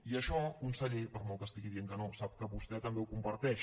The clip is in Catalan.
i això con·seller per molt que estigui dient que no sap que vos·tè també ho comparteix